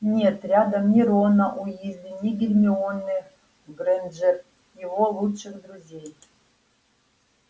нет рядом ни рона уизли ни гермионы грэйнджер его лучших друзей